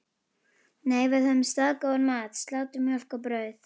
Nei, við höfðum staðgóðan mat: Slátur, mjólk og brauð.